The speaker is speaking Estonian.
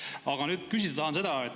Aga küsida tahan seda.